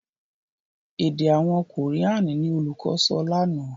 èdè àwọn Korean ní olùkó sọ lànà.